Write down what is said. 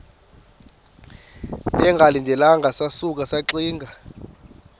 bengalindelanga sasuka saxinga